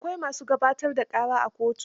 Akwai ma su gabatar da ƙara a kotu.